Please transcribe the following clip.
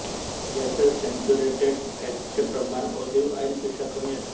यातील सॅच्युरेटेड फॅटचे प्रमाण ऑलिव्ह ऑईल पेक्षा कमी असते